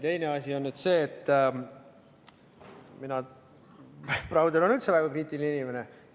Teine asi on see, et Browder on üldse väga kriitiline inimene.